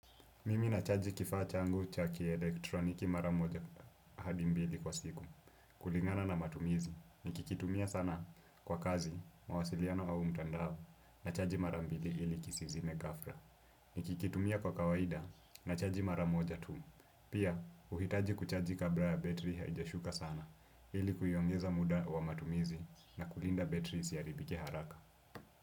Mimi nachaji kifaa changu cha kielektroniki maramoja hadi mbili kwa siku. Kulingana na matumizi, nikikitumia sana kwa kazi, mawasiliano au mtandao, na chaji mara mbili ili kisizime gafra. Nikikitumia kwa kawaida, na chaji mara moja tu. Pia, uhitaji kuchaji kabla ya betri haijashuka sana, ili kuiongeza muda wa matumizi na kulinda betri isiharibike haraka.